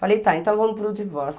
Falei, tá, então vamos para o divórcio.